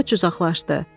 Köç uzaqlaşdı.